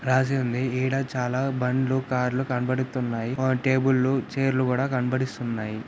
రాసి ఉంది ఇడా చాలా బండ్లు కార్ లు కనబడుతున్నాయి. ఆ టేబుల్ లు చైర్ లు కూడా కనబడిస్తున్నాయి.